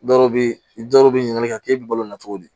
Dɔw bɛ dɔw bɛ ɲininkali kɛ k'e bɛ balo la cogo di